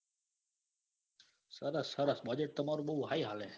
સરસ સરસ budget તમારું બૌ high આવે.